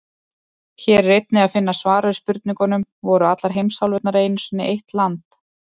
Hér er einnig að finna svar við spurningunum: Voru allar heimsálfurnar einu sinni eitt land?